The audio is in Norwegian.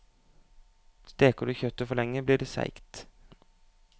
Steker du kjøttet for lenge, blir det seigt.